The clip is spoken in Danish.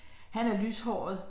Han er lyshåret